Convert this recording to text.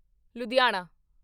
Ludhiana